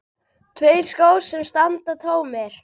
Tveir skór sem standa tómir.